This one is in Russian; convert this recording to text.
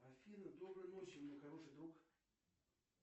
афина доброй ночи мой хороший друг